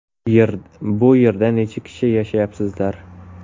Bu yerda necha kishi yashayapsizlar?